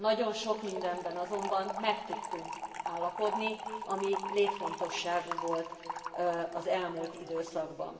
Nagyon sok mindenben azonban meg tudtunk állapodni, ami létfontosságú volt az elmúlt időszakban.